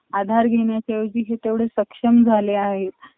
आधार घेण्याच्या ऐवजी हे तेवढे सक्षम झाले आहे.